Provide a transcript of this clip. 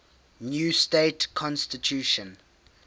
new state constitution